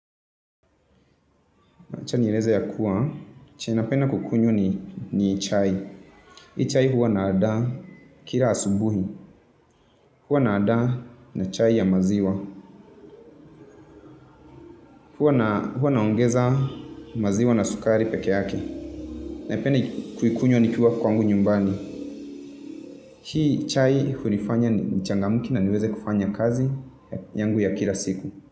Acha nieleze ya kuwa. Chenye napenda kukunywa ni chai. Hii chai huwa nandaa kila asubuhi. Huwa naandaa na chai ya maziwa. Huwa naongeza maziwa na sukari pekee yake. Naipenda kuikunywa nikiwa kwangu nyumbani. Hii chai hunifanya nichangamke na niweze kufanya kazi yangu ya kila siku.